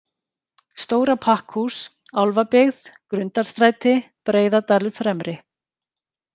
Stóra Pakkhús, Álfabyggð, Grundarstræti, Breiðadalur Fremri